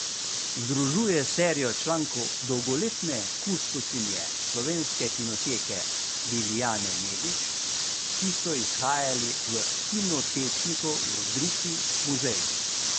Združuje serijo člankov dolgoletne kustosinje Slovenske kinoteke Lilijane Nedič, ki so izhajali v Kinotečniku v rubriki Muzej.